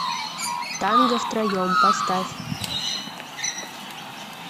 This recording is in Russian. танго втроем поставь